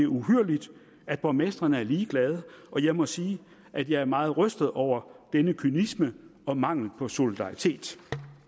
uhyrligt at borgmestrene er ligeglade og jeg må sige at jeg er meget rystet over denne kynisme og mangel på solidaritet